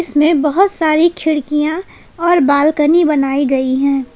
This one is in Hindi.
इसमें बहुत सारी खिड़कियां और बालकनी बनाई गई हैं।